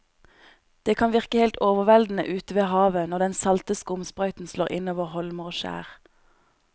Det kan virke helt overveldende ute ved havet når den salte skumsprøyten slår innover holmer og skjær.